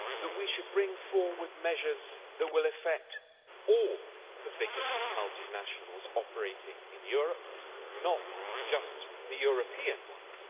We should bring forward measures that will affect all the biggest multinationals operating in Europe, not just the European ones.